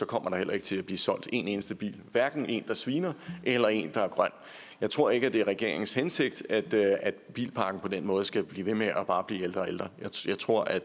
kommer der heller ikke til at blive solgt en eneste bil hverken en der sviner eller en der er grøn jeg tror ikke det er regeringens hensigt at bilparken på den måde skal blive ved med bare at blive ældre og ældre jeg tror at